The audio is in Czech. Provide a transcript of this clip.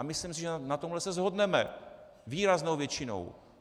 A myslím si, že na tomhle se shodneme výraznou většinou.